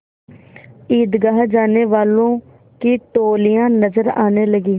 ईदगाह जाने वालों की टोलियाँ नजर आने लगीं